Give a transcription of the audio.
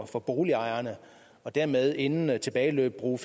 for boligejerne og dermed inden tilbageløbet bruge